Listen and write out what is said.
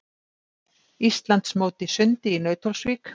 Íslandsmót í sundi í Nauthólsvík